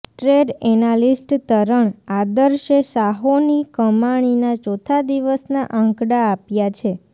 trade analyst Taran આદર્શે સાહોની કમાણીના ચોથા દિવસના આંકડા આપ્યા છે